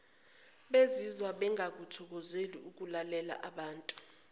bezizwa bengakuthokozeli ukulalelaabantu